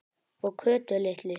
Og Kötu litlu.